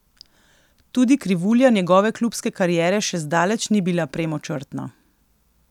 Tudi krivulja njegove klubske kariere še zdaleč ni bila premočrtna.